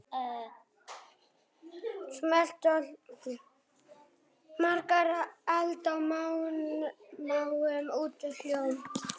Margra alda máum út hljóm?